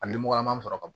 A nimorolama sɔrɔ ka bon